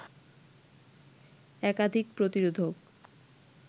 একাধিক প্রতিরোধক